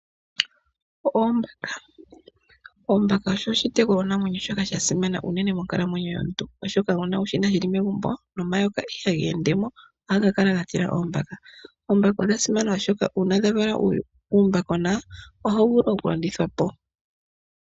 Oombaka iitekulwa namwenyo mbyoka yasimana monkalamwenyo yomuntu oshoka ngele wu yina megumbo nomayoka ihaga endemo ohaga kala ga tila oombaka. Odha simana oshoka uuna dha vala uumbakona ohawu vulu okulandithwa po.